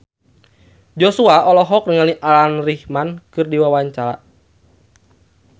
Joshua olohok ningali Alan Rickman keur diwawancara